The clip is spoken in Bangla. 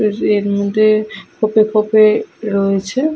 এর মধ্যে খোপে খোপে রয়েছে ।